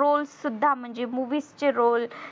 roles सुद्धा म्हणजे movies चे role